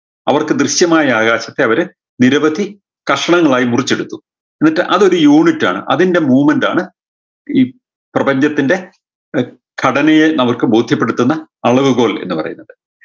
അവർക്ക് ദൃശ്യമായ ആകാശത്തെ അവര് നിരവധി കഷ്ണങ്ങളായി മുറിച്ചെടുത്തു എന്നിട്ട് അതൊരു unit ആണ് അതിൻറെ movement ആണ് ഈ പ്രപഞ്ചത്തിൻറെ ഘടനയെ നമുക്ക് ബോധ്യപ്പെടുത്തുന്ന അളവ് കോൽ എന്ന് പറയുന്നത്